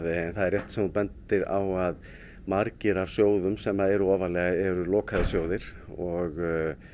er rétt sem þú bendir á að margir af sjóðum sem eru ofarlega eru lokaðir sjóðir og